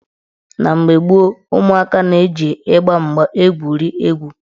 Na mgbe gboo, ụmụaka na-eji ịgba mgba egwuri egwu.